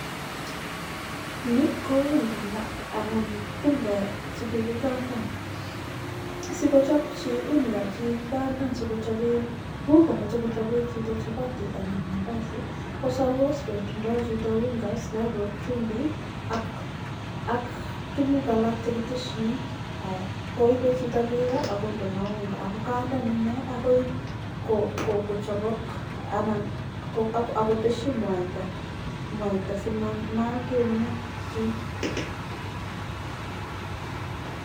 nii kouungeek chekikandan amun mece kochopi mandasi komuchii koteshii mwaitaa simanam keunek chiik